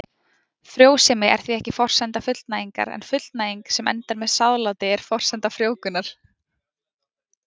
Frjósemi er því ekki forsenda fullnægingar en fullnæging sem endar með sáðláti er forsenda frjóvgunar.